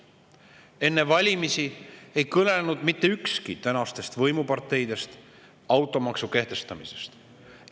Enne valimisi ei kõnelnud mitte ükski tänastest võimuparteidest automaksu kehtestamisest.